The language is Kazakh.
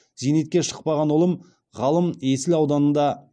зейнетке шықпаған ұлым ғалым есіл ауданында